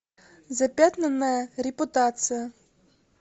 запятнанная репутация